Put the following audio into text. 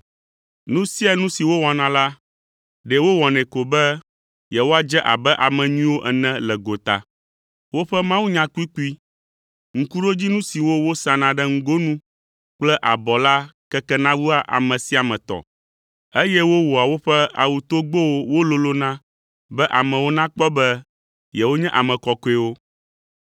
“Nu sia nu si wowɔna la, ɖe wowɔnɛ ko be yewoadze abe ame nyuiwo ene le gota. Woƒe mawunya kpukpui, ŋkuɖodzinu siwo wosana ɖe ŋgonu kple abɔ la kekena wua ame sia ame tɔ, eye wowɔa woƒe awutogbowo wololona be amewo nakpɔ be yewonye ame kɔkɔewo.